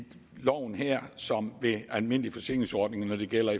loven her som ved almindelige forsikringsordninger når det gælder